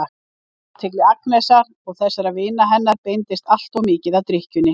Athygli Agnesar og þessara vina hennar beinist alltof mikið að drykkjunni.